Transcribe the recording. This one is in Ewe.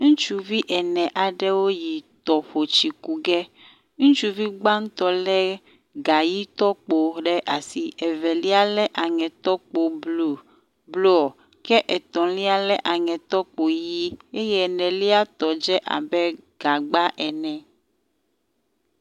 Ŋutsuvi ene aɖewo yi tɔƒo tsi ku ge. Ŋutsuvi gbãtɔ lé gaʋitɔkpo ɖe asi, evelia lé aŋetɔkpo blɔ ke etɔ̃lia lé aŋetɔkpo ʋi eye eneliatɔ dze abe gagba ene